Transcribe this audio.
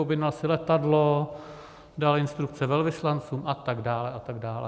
Objednal si letadlo, dal instrukce velvyslancům a tak dále a tak dále.